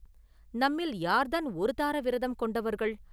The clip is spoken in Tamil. நம்மில் யார்தான் ஒரு தார விரதம் கொண்டவர்கள்?